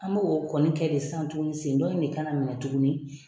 An b'o kɔni kɛ sisan tuguni sen dɔ in de kana minɛ tuguni.